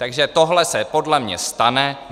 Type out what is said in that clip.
Takže tohle se podle mě stane.